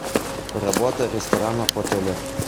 работа ресторанов в отеле